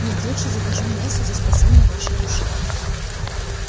нет лучше закажу мессу за спасение вашей души